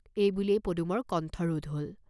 এই বুলিয়েই পদুমৰ কণ্ঠ ৰোধ হল।